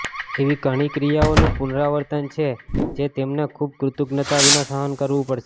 એવી ઘણી ક્રિયાઓનું પુનરાવર્તન છે જે તમને ખૂબ કૃતજ્ઞતા વિના સહન કરવું પડશે